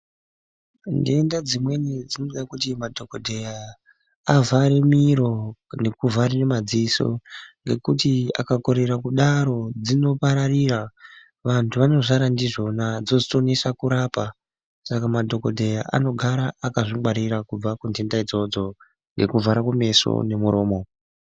Ndenda dzimweni dzinoda kuti madhokodheya avhare miro, nekuvhare madziso, ngekuti akakorera kudaro dzinopararira, vantu vanozara ndizvona, dzotozonesa kurapa, saka madhokodheya anogara akazvingwarira kubva kundenda idzodzo ngekuvhara kumeso nemuromo.